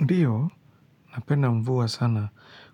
Ndio, napenda mvua sana